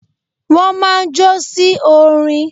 Wọ́n máa ń jó sí orin.